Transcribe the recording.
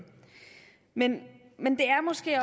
men men det er måske